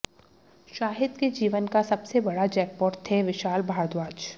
शाहिद के जीवन का सबसे बड़ा जैकपॉट थे विशाल भारद्वाज